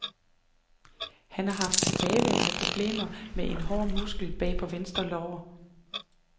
Han har haft tilbagevendende problemer med en hård muskel bag på venstre lår.